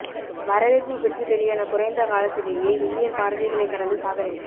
வரவேற்பு பெற்று வெளியான குறைந்த காலத்திலேயே மில்லியன் பார்வைகளை கடந்து சாதனை